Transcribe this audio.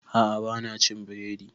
A'a ba na cin biredi